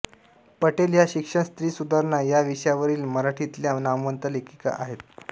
पटेल या शिक्षण स्त्री सुधारणा या विषयांवरील मराठीतल्या नामवंत लेखिका आहेत